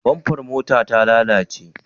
Bamfar motar ta lalace?